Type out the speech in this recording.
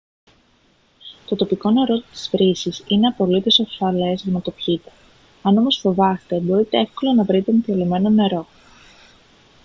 το τοπικό νερό της βρύσης είναι απολύτως ασφαλές για να το πιείτε αν όμως φοβάστε μπορείτε εύκολα να βρείτε εμφιαλωμένο νερό